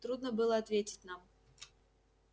трудно было ответить нам